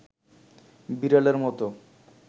বিড়ালের মতো